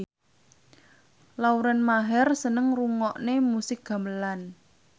Lauren Maher seneng ngrungokne musik gamelan